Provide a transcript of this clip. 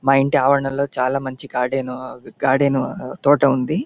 మా ఇంటి ఆవరణం లో చాల మంచి గార్డెను గార్డెను తోట ఉంది.